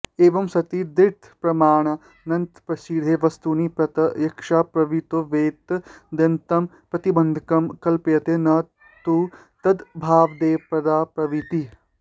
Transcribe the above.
एवं सति दृढतरप्रमाणान्तरप्रसिद्धे वस्तुनि प्रत्यक्षाप्रवृत्तावेतदन्यतमं प्रतिबन्धकं कल्प्यते न तु तदभावादेवाप्रवृत्तिः